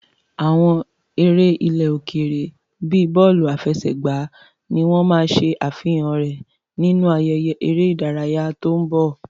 Àwọn eré ilẹ̀ òkèèrè bíi bọ́ọ̀lù àfẹsẹ̀gbá ni wọ́n máa ṣe àfihàn rẹ̀ nínú ayẹyẹ eré ìdárayá tó ń bọ̀.